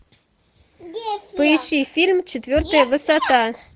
поищи фильм четвертая высота